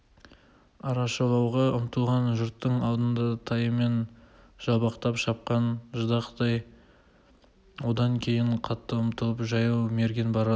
арашалауға ұмтылған жұрттың алдында тайымен жалбақтап шапқан ждақай одан кейін қатты ұмтылып жаяу мерген барады